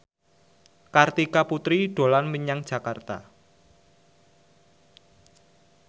Kartika Putri dolan menyang Jakarta